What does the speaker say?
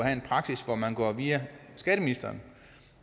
en praksis hvor man går via skatteministeren